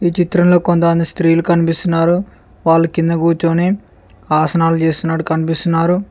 చిత్రంలో కొంతమంది స్త్రీలు కనిపిస్తున్నారు వాళ్ళు కింద కూర్చొని ఆసనాలు చేస్తున్నాడు కనిపిస్తున్నారు.